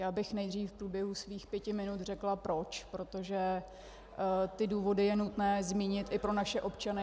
Já bych nejdřív v průběhu svých pěti minut řekla proč, protože ty důvody je nutné zmínit i pro naše občany.